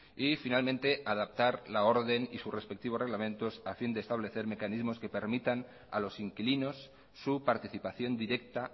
y finalmente adaptar la orden y sus respectivos reglamentos a fin de establecer mecanismos que permitan a los inquilinos su participación directa